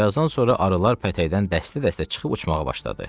Birazdan sonra arılar pətəkdən dəstə-dəstə çıxıb uçmağa başladı.